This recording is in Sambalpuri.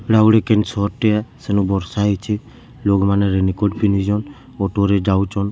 ଇଟା ଗୁଟେ କେନ୍‌ ସହର ଟେ ଏ ସେନୁ ବର୍ଷା ହେଇଛେ ଲୋକ୍‌ ମାନେ ରେନିକୋଟ ପିନ୍ଧିଛନ୍ ଅଟୋ ରେ ଯାଉଛନ ସ୍କୁ --